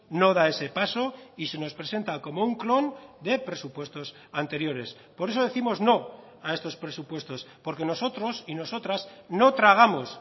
no da ese paso y se nos presenta como un clon de presupuestos anteriores por eso décimos no a estos presupuestos porque nosotros y nosotras no tragamos